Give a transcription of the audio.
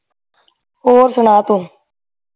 ਹੋਰ ਸੁਣਾ ਤੂੰ